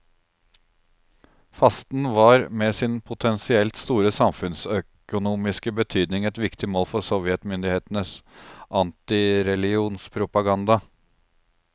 Fasten var med sin potensielt store samfunnsøkonomiske betydning et viktig mål for sovjetmyndighetenes antireligionspropaganda.